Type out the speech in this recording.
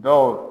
Dɔw